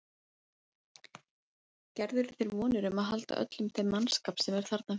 Gerirðu þér vonir um að halda öllum þeim mannskap sem er þarna fyrir?